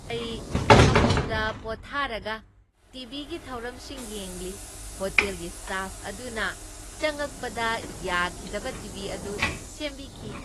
ꯑꯩ ꯐꯃꯨꯡꯗ ꯄꯣꯊꯥꯔꯒ ꯇꯤ.ꯚꯤꯒꯤ ꯊꯧꯔꯝꯁꯤꯡ ꯌꯦꯡꯂꯤ꯫ ꯍꯣꯇꯦꯜꯒꯤ ꯁ꯭ꯇꯥꯐ ꯑꯗꯨꯅ ꯆꯪꯉꯛꯄꯗ ꯌꯥꯈꯤꯗꯕ ꯇꯤ.ꯚꯤ ꯑꯗꯨ ꯁꯦꯝꯕꯤꯈꯤ꯫